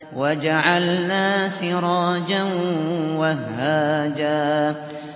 وَجَعَلْنَا سِرَاجًا وَهَّاجًا